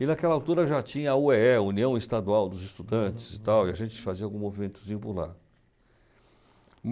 E naquela altura já tinha a u é é, União Estadual dos Estudantes e tal, e a gente fazia algum movimentozinho por lá.